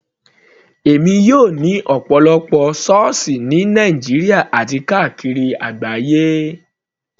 Èmi yóò ní ọ̀pọ̀lọpọ̀ sọ́ọ̀sì ní Nàìjíríà àti káàkiri àgbáyé.